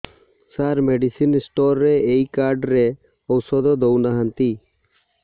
ସାର medicine store ରେ ଏଇ card ରେ ଔଷଧ ଦଉନାହାନ୍ତି